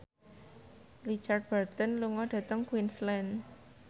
Richard Burton lunga dhateng Queensland